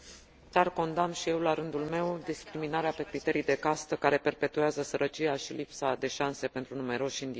Condamn și eu, la rândul meu, discriminarea pe criterii de castă, care perpetuează sărăcia și lipsa de șanse pentru numeroși indieni.